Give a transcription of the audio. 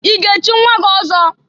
I ga echi nwa gị ọzọ?